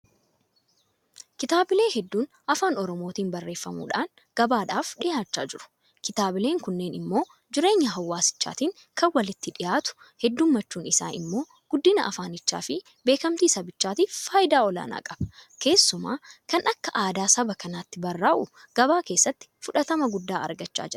Kitaabilee hedduun Afaan Oromootiin barreeffamuudhaan gabaadhaaf dhiyaachaa jiru. Kitaabileen kunneen immoo jireenya hawaasichaatiin kan walitti dhiyaatu heddummachuun isaa immoo guddina afaanichaafi beekmtii sabichaatiif faayidaa olaanaa qaba. Keessumaa kan akka aadaa saba kanaatti barraa'u gabaa keessatti fudhatama guddaa argachaa jira.